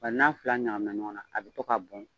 Bari n'a fila ɲagamina ɲɔgɔn na a bi to ka bɔn.